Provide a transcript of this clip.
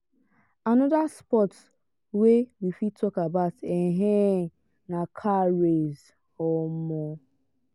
another sports wey we fit talk about um na car race. um